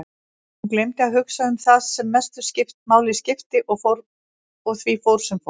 Hún gleymdi að hugsa um það sem mestu máli skipti og því fór sem fór.